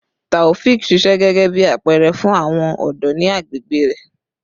Taofiq ṣiṣẹ gẹgẹbi apẹẹrẹ fun awọn ọdọ ni agbegbe rẹ